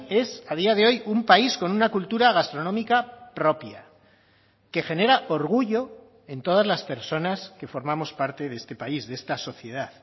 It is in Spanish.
es a día de hoy un país con una cultura gastronómica propia que genera orgullo en todas las personas que formamos parte de este país de esta sociedad